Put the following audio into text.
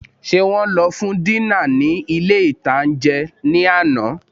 Ṣé wọn lọ fún dínà ní ilé-ìtánjẹ náà ní àná?